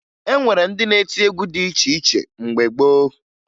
E nwere ndị na-eti egwu dị iche iche mgbe gboo